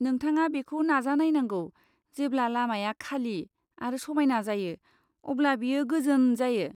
नोंथाङा बेखौ नाजा नायनांगौ, जेब्ला लामाया खालि आरो समायना जायो अब्ला बेयो गोजोन जायो।